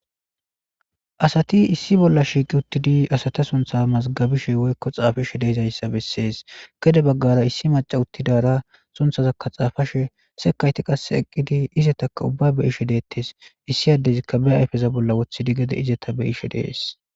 Assati isssi bolla shiqi uttidi assatu sunitha xafishe woyiko mazigabishe dizayisi betes gedde baggara issi macasi utidara sunithaza xafashe sekayiti qasse ubbayi eqidi izata beyishe detesi issi adezi be ayifeza bolla wothidi gede beyishe dessi